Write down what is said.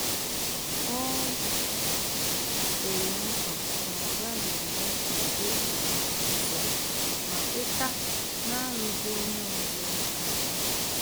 Ọ kwere nkwa na ọ gaghị agafe ókè ahụ ọzo ma kweta narugi onye ozo aka